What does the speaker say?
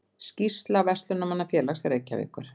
Skýrsla Verslunarmannafélags Reykjavíkur